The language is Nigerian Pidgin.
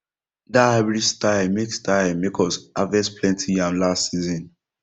that hybrid style make style make us harvest plenty yam last season